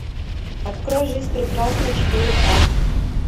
открой жизнь прекрасна четыре ка